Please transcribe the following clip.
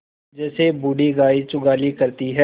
जैसे बूढ़ी गाय जुगाली करती है